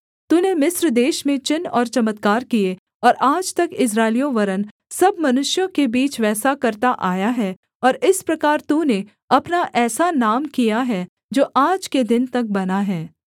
तूने मिस्र देश में चिन्ह और चमत्कार किए और आज तक इस्राएलियों वरन् सब मनुष्यों के बीच वैसा करता आया है और इस प्रकार तूने अपना ऐसा नाम किया है जो आज के दिन तक बना है